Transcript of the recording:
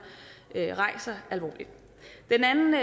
rejser alvorligt den anden